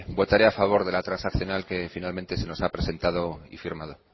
votaré a favor de la transaccional que finalmente se nos ha presentado y firmado